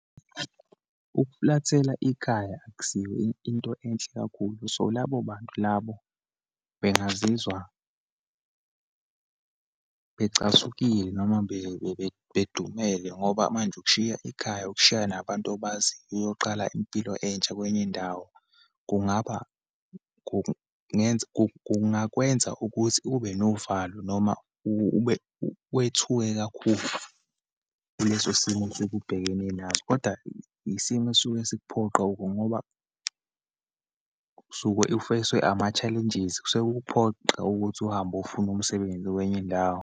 Ukufulathela ikhaya, akusiyo into enhle kakhulu. So, labo bantu labo bengazizwa becasukile noma bedumela, ngoba manje ukushiya ikhaya, ukushiya nabantu abaziyo, uyoqala impilo entsha kwenye indawo, kungaba kungenza, kungakwenza ukuthi ubenovalo, noma ube wethuke kakhulu kuleso simo osuke ubhekene naso. Kodwa, yisimo esisuke sikuphoqa ngoba usuke u-face-we ama-challenges. Kusuke kukuphoqa ukuthi uhambe ofuna umsebenzi kwenye indawo.